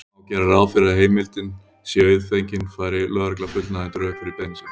Má gera ráð fyrir að heimildin sé auðfengin færi lögregla fullnægjandi rök fyrir beiðni sinni.